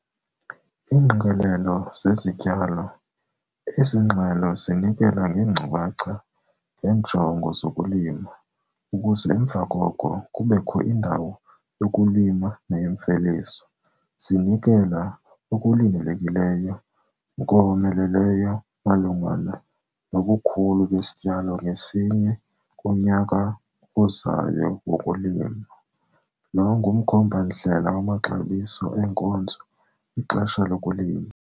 Iingqikelelo zezityalo- Ezi ngxelo zinikela ngeenkcukacha ngeenjongo zokulima, ukuze emva koko, kubekho indawo yokulima neyemveliso. Zinikela okulindelekileyo nkomeleleyo malunga nobukhulu besityalo ngasinye kunyaka ozayo wokulima. Lo ngumkhomba-ndlela wamaxabiso eenkozo kwixesha lokulima.